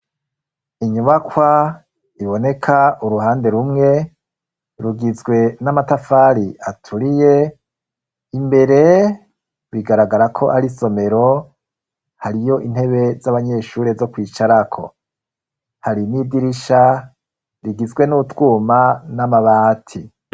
Inyubakwa iboneka uruhande rumwe rugizwe n'amatafari aturiye, imbere bigaragara ko ari isomero hariyo intebe z'abanyeshure zo kwicarako, hari n'idirisha rigizwe n'utwuma n'amabati.